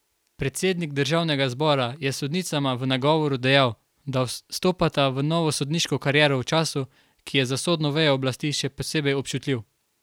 Predsednik državnega zbora je sodnicama v nagovoru dejal, da stopata v novo sodniško kariero v času, ki je za sodno vejo oblasti še posebej občutljiv.